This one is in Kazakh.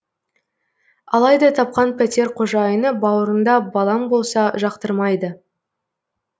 алайда тапқан пәтер қожайыны бауырыңда балаң болса жақтырмайды